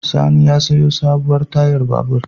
Sani ya sayo sabuwar tayar babur.